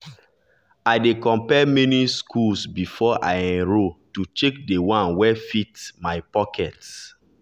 i dey compare many schools before i enroll to check the one wey fit my pocket